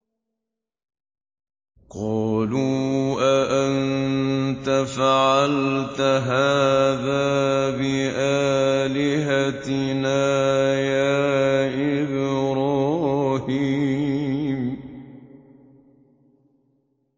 قَالُوا أَأَنتَ فَعَلْتَ هَٰذَا بِآلِهَتِنَا يَا إِبْرَاهِيمُ